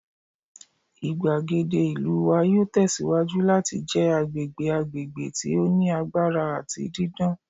igbagede ìlú wa yoo tẹsiwaju lati jẹ agbegbe agbegbe ti o ni agbara ati didan